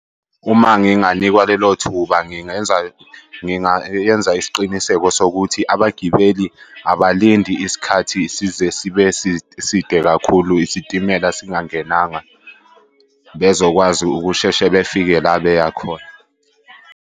Uma nginganikwa lelo thuba ngingenza ngingayenza isiqiniseko sokuthi abagibeli abalindi isikhathi size sibe side kakhulu isitimela singangenanga bezokwazi ukusheshe befike la beya khona.